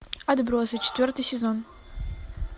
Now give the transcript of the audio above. отбросы четвертый сезон